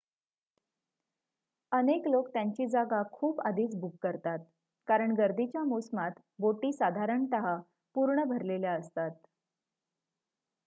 अनेक लोक त्यांची जागा खूप आधीच बुक करतात कारण गर्दीच्या मोसमात बोटी साधारणत: पूर्ण भारलेल्या असतात